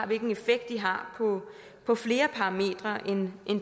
hvilken effekt de har på flere parametre end